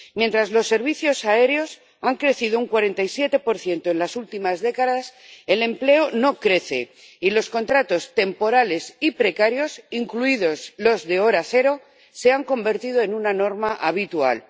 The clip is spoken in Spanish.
Mientras los servicios aéreos han crecido un 47 en las últimas décadas, el empleo no crece, y los contratos temporales y precarios, incluidos los de cero horas, se han convertido en una norma habitual.